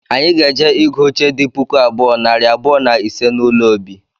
Anyị ga-eje ịgụ oche di puku abụọ, nari abụọ na ise n’ụlọ obi